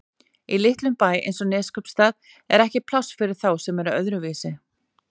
Í litlum bæ eins og Neskaupstað er ekki pláss fyrir þá sem eru öðruvísi.